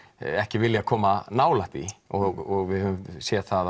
ekki viljað koma nálægt því og við höfum séð það